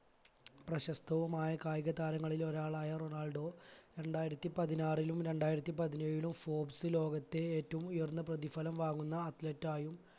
പ്രശസ്തവുമായ കായിക താരങ്ങളിൽ ഒരാളായ റൊണാൾഡോ രണ്ടായിരത്തി പതിനാറിലും രണ്ടായിരത്തി പതിനേഴിലും ഫോർബ്സ് ലോകത്തെ ഏറ്റവും ഉയർന്ന പ്രതിഫലം വാങ്ങുന്ന athlete ആയും